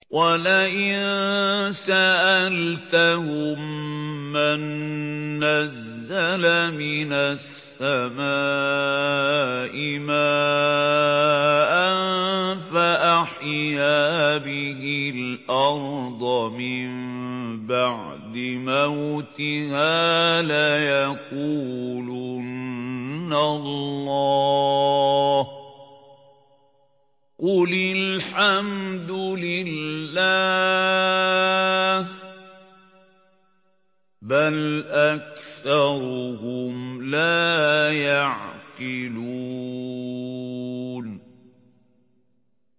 وَلَئِن سَأَلْتَهُم مَّن نَّزَّلَ مِنَ السَّمَاءِ مَاءً فَأَحْيَا بِهِ الْأَرْضَ مِن بَعْدِ مَوْتِهَا لَيَقُولُنَّ اللَّهُ ۚ قُلِ الْحَمْدُ لِلَّهِ ۚ بَلْ أَكْثَرُهُمْ لَا يَعْقِلُونَ